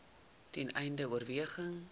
ten einde oorweging